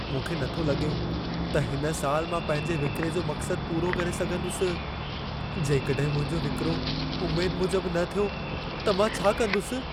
मूंखे नथो लॻे त हिन साल मां पंहिंजे विक्रे जो मक्सद पूरो करे सघंदुसि। जेकॾहिं मुंहिंजो विक्रो उमेद मूजब न थियो त मां छा कंदुसि?